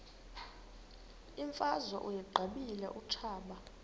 imfazwe uyiqibile utshaba